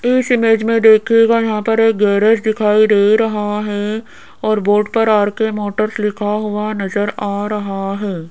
इस इमेज में देखिएगा यहां पर एक गैरेज दिखाई दे रहा है और बोर्ड पर आर_के मोटर्स लिखा हुआ नजर आ रहा है।